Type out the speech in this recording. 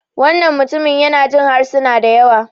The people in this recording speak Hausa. wannan mutum yana Jin harsuna da yawa